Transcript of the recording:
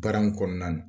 Baara in kɔnɔna na